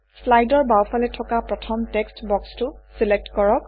শ্লাইডৰ বাওঁফালে থকা প্ৰথম টেক্সট্ বক্সটো চিলেক্ট কৰক